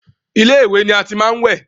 Ilé ìwẹ̀ ni a ti máa ń wẹ̀.